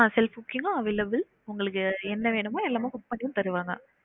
Self cooking உ available உங்களுக்கு என்ன வேணுமோ எல்லாமே cook பன்னியும் தருவாங்க